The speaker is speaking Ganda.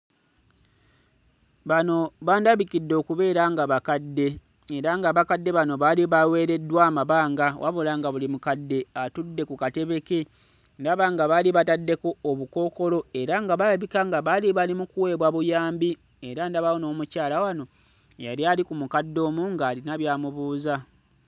Bano bandabikidde okubeera nga bakadde era ng'abakadde bano baali baweereddwa amabanga wabula nga buli mukadde atudde ku katebe ke. Ndaba nga baali bataddeko obukookolo era nga kirabika baali bali mu kuweebwa buyambi era ndabawo n'omukyala wano eyali ali ku mukadde omu ng'alina by'amubuuza.